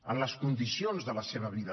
en les condicions de la seva vida